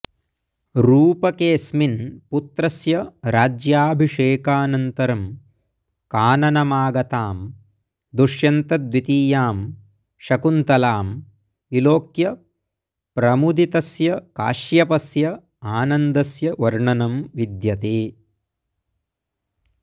रूपकेऽस्मिन् पुत्रस्य राज्याभिषेकानन्तरं काननमागतां दुष्यन्तद्वितीयां शकुन्तलां विलोक्य प्रमुदितस्य काश्यपस्य आनन्दस्य वर्णनं विद्यते